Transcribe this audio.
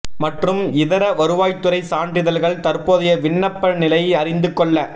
மற்றும் இதர வருவாய்த்துறை சான்றிதழ்கள் தற்போதைய விண்ணப்ப நிலை அறிந்து கொள்ள